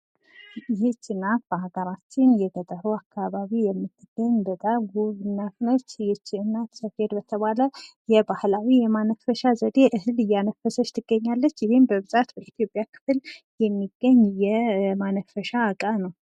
ይህች ሴት በሀገራችን በገጠሩ አካባቢ የምትገኝ በጣም ውብ እናት ነች። ይች እናት ሰፌድ በተባለ የባህላዊ ማነፈሻ እህል እያነፈሰች ትገኛለች። እሄም በአብዛኛው የኢትዮጵያ ክፍል የሚገኝ የማነፈሻ እቃ ነው ።